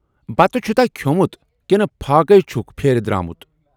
بتہٕ چھُتاہ کھیومُت ، کِنہٕ فاقٕے چھُکھ پھیرِ درامُت